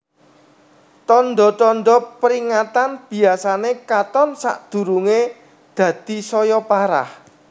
Tanda tanda peringatan biyasane katon sedurunge dadi saya parah